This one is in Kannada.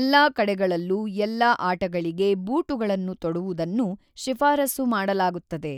ಎಲ್ಲಾ ಕಡೆಗಳಲ್ಲೂ ಎಲ್ಲಾ ಆಟಗಳಿಗೆ ಬೂಟುಗಳನ್ನು ತೊಡುವುದನ್ನು ಶಿಫಾರಸು ಮಾಡಲಾಗುತ್ತದೆ.